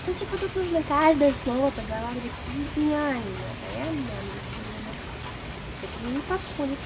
эти будут нужны каждое слово проговаривать идеально а я мямлю всё время это мне не подходит